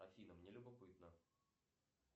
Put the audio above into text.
афина мне любопытно